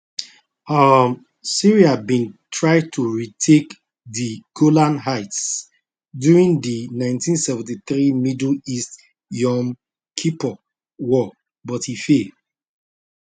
um syria bin try to retake di golan heights during di 1973 middle east yom kippur war but e fail